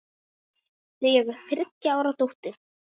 Þau eiga þriggja ára dóttur.